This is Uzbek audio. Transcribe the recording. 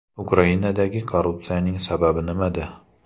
Ukrainadagi korrupsiyaning sababi nimada?